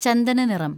ചന്ദന നിറം